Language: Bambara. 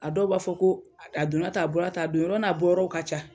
A dɔw b'a fɔ ko a donna ta, a bɔra ta, a don yɔrɔ n'a bɔ yɔrɔ ka ca.